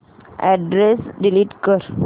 address delete कर